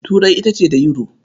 Turai ita ce da Yuro.